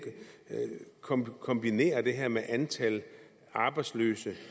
kombinere kombinere det her med antal arbejdsløse